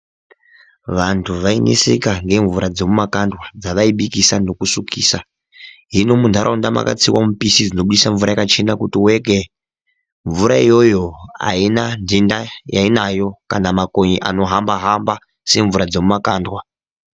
Vantu vaineseka nemvura dzemuma kandwa dzavaibikisa nekusukisa hino minharaunda makatsiwa mipichizi dzinobudisa mvura yakachena kuti weke. Mvura iyoyo haina nhenda yainayo kana mamakonye anohamba-hamba, semvura dzemuma kandwa.